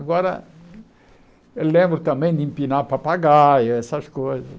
Agora, eu lembro também de empinar papagaio, essas coisas.